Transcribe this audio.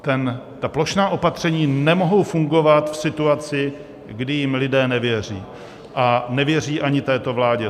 Ta plošná opatření nemohou fungovat v situaci, kdy jim lidé nevěří a nevěří ani této vládě.